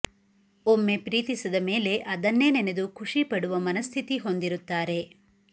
ಒಮ್ಮೆ ಪ್ರೀತಿಸಿದ ಮೇಲೆ ಅದನ್ನೇ ನೆನೆದು ಖುಷಿ ಪಡುವ ಮನಃಸ್ಥಿತಿ ಹೊಂದಿರುತ್ತಾರೆ